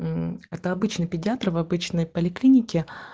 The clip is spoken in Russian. мм это обычный педиатр в обычной поликлинике